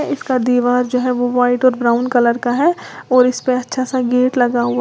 इसका दीवार जो है वो व्हाइट और ब्राऊन कलर का है और इसपे अच्छासा गेट लगा हुआ--